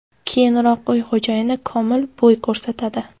Keyinroq uy xo‘jayini – Komil bo‘y ko‘rsatadi.